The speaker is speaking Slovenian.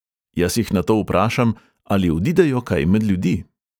Jaz jih nato vprašam, ali odidejo kaj med ljudi.